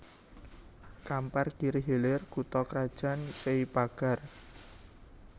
Kampar Kiri Hilir kutha krajan Sei Pagar